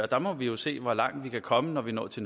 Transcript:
der må vi jo se hvor langt vi kan komme når vi når til